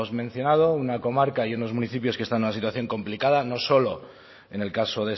mencionado una comarca y unos municipios que están en una situación complicada no solo en el caso